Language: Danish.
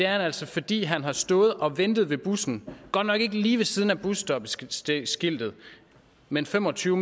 han altså fordi han har stået og ventet ved bussen godt nok ikke lige ved siden af busstopskiltet men fem og tyve